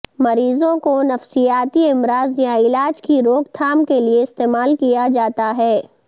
مریضوں کو نفسیاتی امراض یا علاج کی روک تھام کے لئے استعمال کیا جاتا ہے